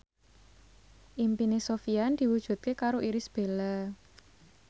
impine Sofyan diwujudke karo Irish Bella